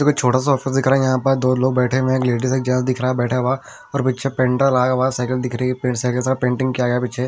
छोटा सा ऑफिस दिख रहा है यहां पर दो लोग बैठे हुए हैं एक लेडीज जेंट्स दिख रहा है बैठा हुआ और पीछे पेंटर आया हुआ है साकिल दिख रही है पे सा पेंटिंग किया गया पीछे --